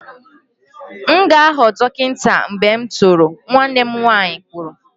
M ga-aghọ dọkịta mgbe m toro, nwanne m nwanyị kwuru